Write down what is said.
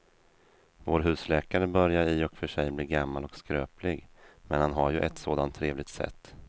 Vår husläkare börjar i och för sig bli gammal och skröplig, men han har ju ett sådant trevligt sätt!